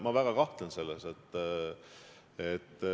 Ma väga kahtlen selles.